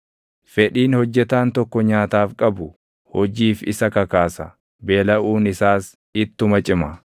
Fedhiin hojjetaan tokko nyaataaf qabu hojiif isa kakaasa; beelaʼuun isaas ittuma cima.